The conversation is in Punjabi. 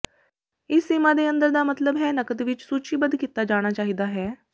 ਇਸ ਸੀਮਾ ਦੇ ਅੰਦਰ ਦਾ ਮਤਲਬ ਹੈ ਨਕਦ ਵਿੱਚ ਸੂਚੀਬੱਧ ਕੀਤਾ ਜਾਣਾ ਚਾਹੀਦਾ ਹੈ